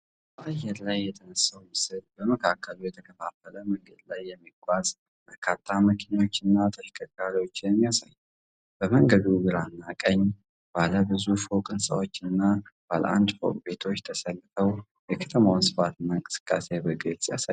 በአየር ላይ የተነሳው ምስል በመካከሉ በተከፋፈለ መንገድ ላይ የሚጓዙ በርካታ መኪናዎችንና ተሽከርካሪዎችን ያሳያል። በመንገዱ ግራና ቀኝ ባለ ብዙ ፎቅ ሕንፃዎችና ባለ አንድ ፎቅ ቤቶች ተሰልፈው የከተማዋን ስፋትና እንቅስቃሴ በግልጽ ያሳያሉ።